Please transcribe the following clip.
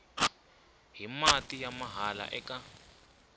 hi mati ya mahala eka